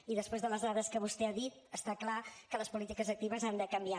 i després de les dades que vostè ha dit està clar que les polítiques actives han de canviar